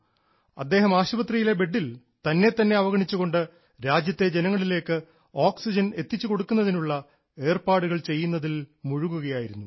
അദ്ദേഹം ആശുപത്രിയിലെ ബെഡിൽ തന്നെ തന്നെ അവഗണിച്ചുകൊണ്ട് രാജ്യത്തെ ജനങ്ങളിലേക്ക് ഓക്സിജൻ എത്തിച്ചു കൊടുക്കുന്നതിനുള്ള ഏർപ്പാടുകൾ ചെയ്യുന്നതിൽ മുഴുകുകയായിരുന്നു